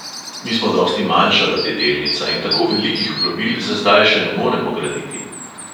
Mi smo dosti manjša ladjedelnica in tako velikih plovil za zdaj še ne moremo graditi.